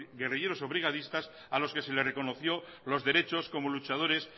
guerrilleros o brigadistas a los que se les reconoció los derechos como luchadores